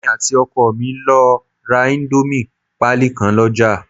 Èmi àti ọkọ mi lọ ra íńdómì pálí kan lọ́ jà